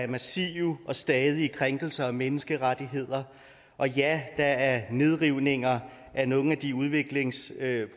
massive og stadige krænkelser af menneskerettighederne og ja der er nedrivninger af nogle af de udviklingsprojekter